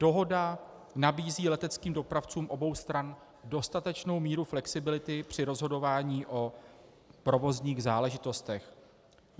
Dohoda nabízí leteckým dopravcům obou stran dostatečnou míru flexibility při rozhodování o provozních záležitostech.